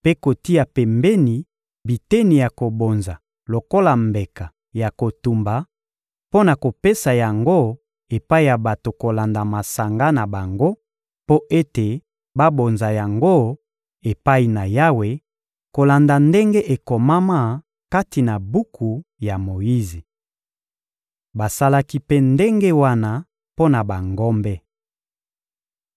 mpe kotia pembeni biteni ya kobonza lokola mbeka ya kotumba, mpo na kopesa yango epai ya bato kolanda masanga na bango mpo ete babonza yango epai na Yawe, kolanda ndenge ekomama kati na buku ya Moyize. Basalaki mpe ndenge wana mpo na bangombe.